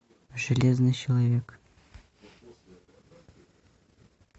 железный человек